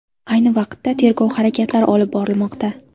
Ayni vaqtda tergov harakatlari olib borilmoqda.